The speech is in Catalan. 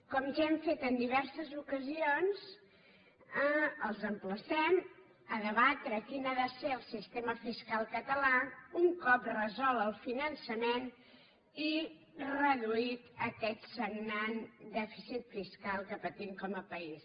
com ja hem fet en diverses ocasions els emplacem a debatre quin ha de ser el sistema fiscal català un cop resolt el finançament i reduït aquest sagnant dèficit fis·cal que patim com a país